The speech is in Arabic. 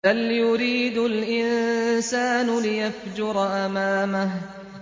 بَلْ يُرِيدُ الْإِنسَانُ لِيَفْجُرَ أَمَامَهُ